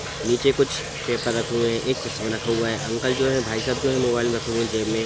नीचे कुछ पेपर रखे हुए हैं एक चश्मा रखा हुआ है अंकल जो है भाई साहब जो है मोबाईल रखे हुए है जेब मे।